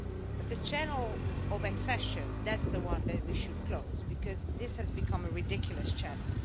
But the channel of accession that's the one that we should close because it has become a ridiculous channel.